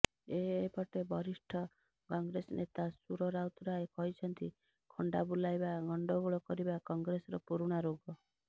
ଏପଟେ ବରିଷ୍ଠ କଂଗ୍ରେସ ନେତା ସୁର ରାଉତରାୟ କହିଛନ୍ତି ଖଣ୍ତା ବୁଲାଇବା ଗଣ୍ତଗୋଳ କରିବା କଂଗ୍ରେସର ପୁରୁଣା ରୋଗ